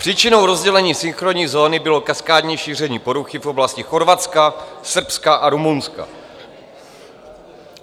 Příčinou rozdělení synchronní zóny bylo kaskádní šíření poruchy v oblasti Chorvatska, Srbska a Rumunska.